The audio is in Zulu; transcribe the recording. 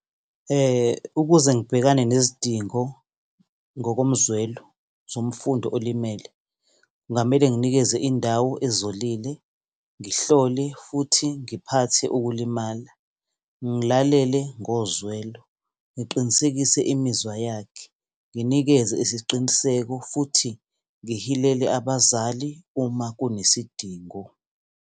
Ukuze ngibhekane nezidingo ngokomzwelo zomfundo olimele, kungamele nginikeze indawo ezolile, ngihlole futhi ngiphathe ukulimala, ngilalele ngozwelo, ngiqinisekise imizwa yakhe, nginikeze isiqiniseko futhi ngibikele abazali uma kunesidingo.